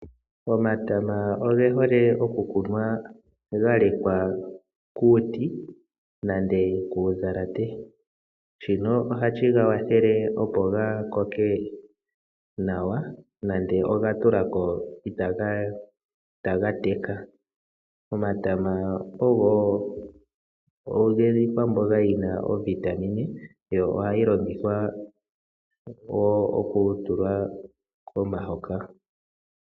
Omatamba oge hole okukunwa ga mangelwa kuuti nenge kuundhalate. Shika ohashi ga kwathele opo ga koke nawa, nande oga tula ko itaga teka. Omatama ogo iikwamboga yi na oovitamine, yo ohayi longithwa okutulwa komahoka.